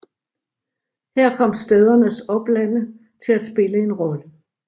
Her kom stædernes oplande til at spille en stor rolle